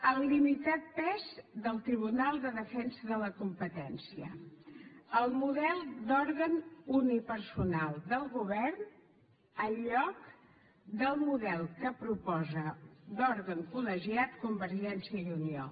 el limitat pes del tribunal de defensa de la competència el model d’òrgan unipersonal del govern en lloc del model que proposa d’òrgan col·legiat convergència i unió